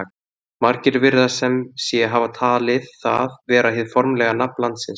Margir virðast sem sé hafa talið það vera hið formlega nafn landsins.